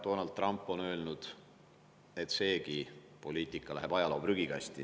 Donald Trump on öelnud, et seegi poliitika läheb ajaloo prügikasti.